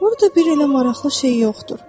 Orada bir elə maraqlı şey yoxdur.